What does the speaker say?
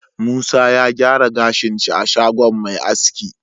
Musa ya gyara gashin shi a shagon Me aski